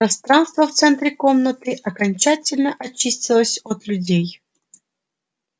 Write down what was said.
пространство в центре комнаты окончательно очистилось от людей